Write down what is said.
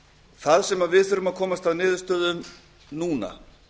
það sem við þurfum að komast að niðurstöðu um núna